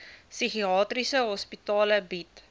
psigiatriese hospitale bied